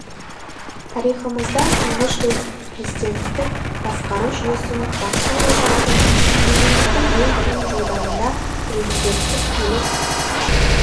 тарихымызда тұңғыш рет президенттік басқару жүйесі бастау алған күн егемендіктің ең қиын жылдарында президенттік билік